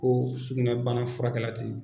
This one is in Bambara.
Ko sugunɛbana furakɛla tɛ yen